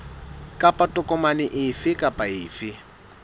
kapa tokomane efe kapa efe